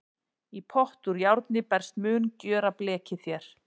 Í pott úr járni best mun gjöra blekið þér.